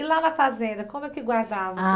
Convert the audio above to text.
E lá na fazenda, como é que guardava? Ah